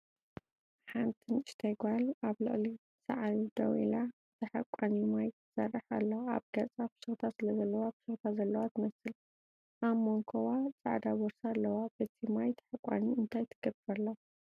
ሓንቲ ንእሽተይ ጓል ኣብ ልዕሊ ሳዕሪ ደው ኢላ፡ ብታሓቋኒ ማይ ትሰርሕ ኣላ። ኣብ ገጻ ፍሽኽታ ስለዘለዋ ፍሽኽታ ዘለዋ ትመስል። ኣብ መንኵባ ጻዕዳ ቦርሳ ኣለዋ። በቲ ማይ ታሓቋኒ እንታይ ትገብር ኣላ ?